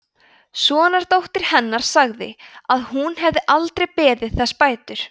sonardóttir hennar segir að hún hafi aldrei beðið þess bætur